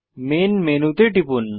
main menu menu তে টিপুন